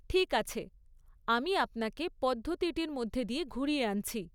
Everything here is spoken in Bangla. ঠিক আছে, আমি আপনাকে পদ্ধতিটির মধ্যে দিয়ে ঘুরিয়ে আনছি।